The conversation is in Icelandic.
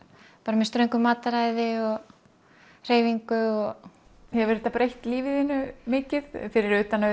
með ströngu mataræði og hreyfingu hefur þetta breytt lífi þínu mikið fyrir utan að